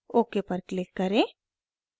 ok पर click करें